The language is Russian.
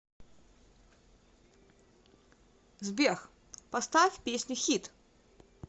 сбер поставь песню хит